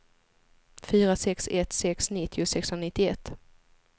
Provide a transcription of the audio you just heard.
fyra sex ett sex nittio sexhundranittioett